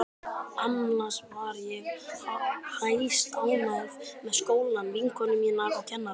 Annars var ég hæstánægð með skólann, vinkonur mínar og kennarana.